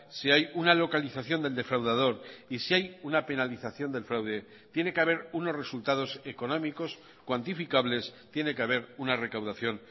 si hay una localización del defraudador y si hay una penalización del fraude tiene que haber unos resultados económicos cuantificables tiene que haber una recaudación